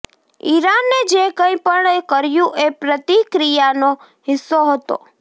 ઇરાને જે કંઇ પણ કર્યુ એ પ્રતિક્રિયાનો હિસ્સો હતો